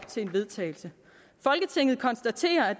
til vedtagelse folketinget konstaterer at